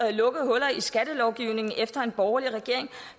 at lukke huller i skattelovgivningen efter en borgerlig regering